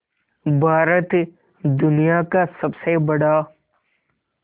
भारत दुनिया का सबसे बड़ा